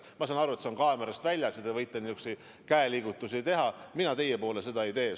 Ma saan aru, et see jääb kaamerast välja ja te võite nihukesi käeliigutusi teha, aga mina teie suunas sedasi ei teeks.